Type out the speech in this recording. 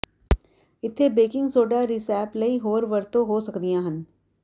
ਇੱਥੇ baking soda recipe ਲਈ ਹੋਰ ਵਰਤੋਂ ਹੋ ਸਕਦੀਆਂ ਹਨ